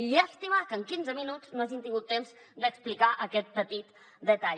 i llàstima que en quinze minuts no hagi tingut temps d’explicar aquest petit detall